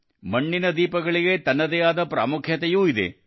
ಮಣ್ಣಿನ ದೀಪಗಳಿಗೆ ತನ್ನದೇ ಆದ ಮಹತ್ವವೂ ಇದೆ